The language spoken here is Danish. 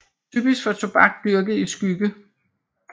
Typisk for tobak dyrket i skygge